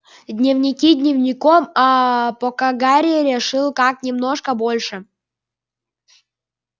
дневники дневником аа пока гарри решил как немножко больше